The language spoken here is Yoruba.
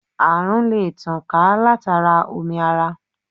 À̀rùn lè tàn ká látara omi ara.